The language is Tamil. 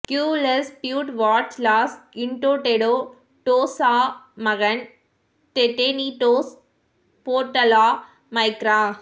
கியூ லெஸ் ப்யூட் வாட்ச்ஸ் லாஸ் இன்டோடெடோடோஸ் ஸா மகன் டெடெனீடோஸ் போர்ட லா மைக்ரா